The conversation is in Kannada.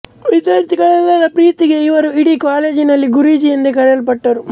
ವಿದ್ಯಾರ್ಥಿಗಳೆಲ್ಲರ ಪ್ರೀತಿಗೆ ಇವರು ಇಡೀ ಕಾಲೇಜಿನಲ್ಲಿ ಗುರೂಜಿ ಎಂದೇ ಕರೆಯಲ್ಪಟ್ಟರು